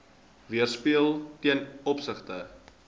weerspieël ten opsigte